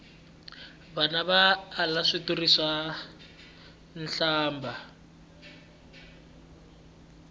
vana va ala switori swa nhlambha